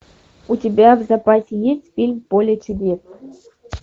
у тебя в запасе есть фильм поле чудес